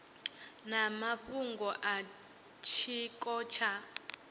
na mafhungo a tshiko tsha